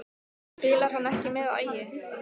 En spilar hann ekki með Ægi?